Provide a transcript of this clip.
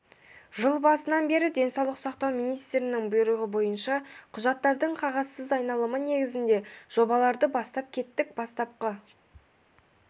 жыл басынан бері денсаулық сақтау министрінің бұйрығы бойынша құжаттардың қағазсыз айналымы негізінде жобаларды бастап кеттік бастапқы